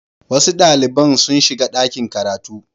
Wasu ɗalibai sun shiga ɗakin karatu.